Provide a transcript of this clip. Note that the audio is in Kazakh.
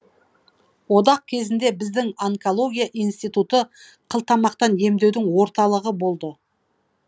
одақ кезінде біздің онкология институты қылтамақтан емдеудің орталығы болды